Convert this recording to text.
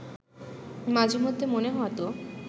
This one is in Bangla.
মাঝেমধ্যে মনে হতো